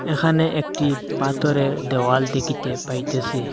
এখানে একটি পাথরের দেওয়াল দেখিতে পাইতেসি।